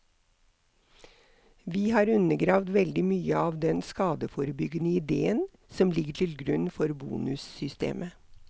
Vi har undergravd veldig mye av den skadeforebyggende idéen som ligger til grunn for bonussystemet.